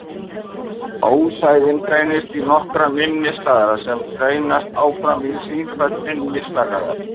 Ósæðin greinist í nokkrar minni slagæðar sem greinast áfram í sífellt minni slagæðar.